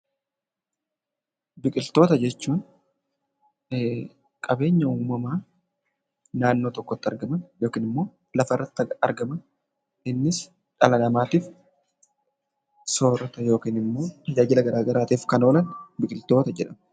Biqiltoota jechuun qabeenya uumamaa naannoo tokkotti argaman yookiin immoo lafa irratti argamani. Innis dhala namaatiif soorata yookiin immoo tajaajila gara garaatiif kan oolan 'biqiltoita' jedhamu.